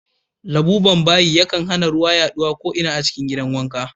Labuben bayi yakan hana ruwa yaɗuwa ko'ina a cikin gidan wanka.